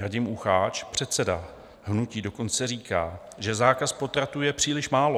Radim Ucháč, předseda hnutí, dokonce říká, že zákaz potratů je příliš málo.